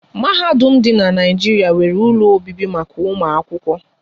Mahadum dị n'Naijiria nwéré ụlọ obibi maka ụmụ akwụkwọ